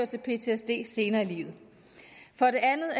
til ptsd senere i livet for det andet